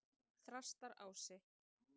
Þrastarási